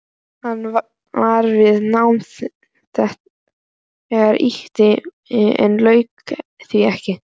Hann var við nám þar ytra en lauk því ekki.